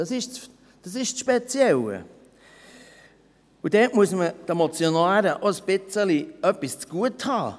Das ist das Spezielle, und dort muss man den Motionären auch etwas ein wenig zu Gute halten: